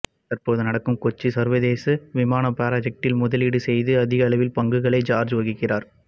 தற்போது நடக்கும் கொச்சி சர்வதேச விமான ப்ராஜக்டில் முதலீடு செய்து அதிகளவில் பங்குகளை ஜார்ஜ் வகிக்கிறார்